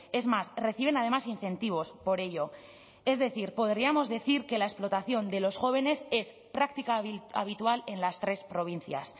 es más reciben además incentivos por ello es decir podríamos decir que la explotación de los jóvenes es práctica habitual en las tres provincias